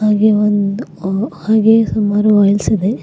ಹಾಗೆ ಒಂದ್ ಹ್ಹ ಹಾಗೆ ಸುಮಾರು ಆಯಿಲ್ಸ್ ಇದೆ.